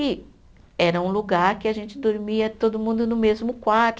E era um lugar que a gente dormia todo mundo no mesmo quarto.